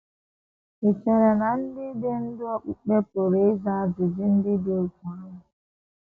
Ì chere na ndị ndú okpukpe pụrụ ịza ajụjụ ndị dị otú ahụ?